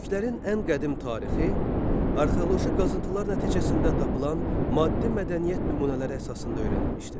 Türklərin ən qədim tarixi arxeoloji qazıntılar nəticəsində tapılan maddi mədəniyyət nümunələri əsasında öyrənilmişdir.